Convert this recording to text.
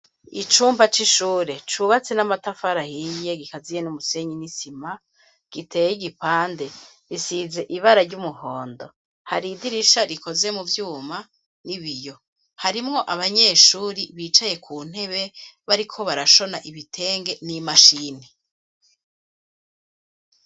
Icumpa c'ishure cubatsi n'amatafarahiiye gikaziye n'umusenyi n'isima giteye igipande risize ibara ry'umuhondo hari idirisha rikoze mu vyuma ni biyo harimwo abanyeshuri bicaye ku ntebe bari ko barashona ibitenge n'imashini.